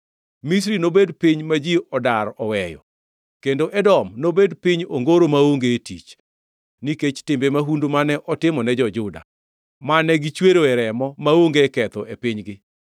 Misri nobed piny ma ji odar oweyo, kendo Edom nobed piny ongoro maonge tich, nikech timbe mahundu mane otimone jo-Juda, mane gichweroe remo maonge ketho e pinygi.